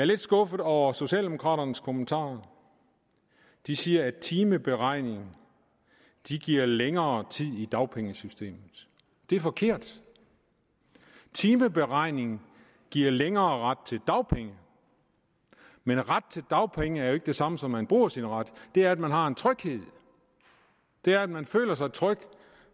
lidt skuffet over socialdemokraternes kommentarer de siger at timeberegning giver længere tid i dagpengesystemet det er forkert timeberegning giver længere ret til dagpenge men ret til dagpenge er jo ikke det samme som at man bruger sin ret det er at man har en tryghed det er at man føler sig tryg